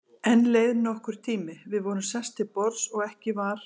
Enn leið nokkur tími, við vorum sest til borðs og ekki var